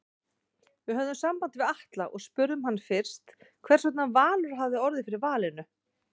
Við höfðum samband við Atla og spurðum hann fyrst hversvegna Valur hafi orðið fyrir valinu?